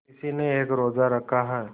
किसी ने एक रोज़ा रखा है